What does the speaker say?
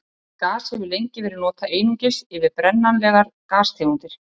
Orðið gas hefur lengi verið notað einungis yfir brennanlegar gastegundir.